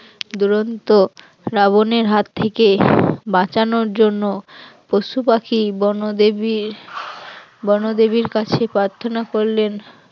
দুরন্ত রাবণের হাত থেকে বাঁচানোর জন্য পশুপাখি বনদেবী বনদেবীর কাছে প্রার্থনা করলেন